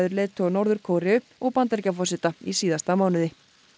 leiðtoga Norður Kóreu og Bandaríkjaforseta í síðasta mánuði